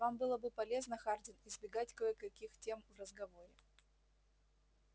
вам было бы полезно хардин избегать кое-каких тем в разговоре